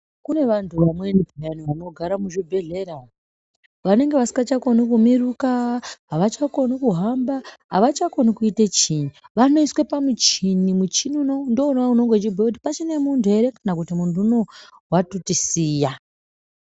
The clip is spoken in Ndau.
Kune vantu vamweni peyani vanogara muzvibhedhlera, vanenge vasikachakoni kumirukaa, avachakoni kuhamba, avachakoni kuita chiinyi . Vanoiswa pamuchini, muchini unowu ndiwo unobhuya kuti pachine muntu ere kana kuti muntu unowu watotisiya.